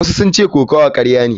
Wasu sun ce kokawa karya ce.